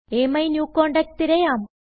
അമിന്യൂകോണ്ടാക്ട് തിരയാം